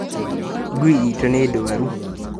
Ngui itu nĩ ndwaru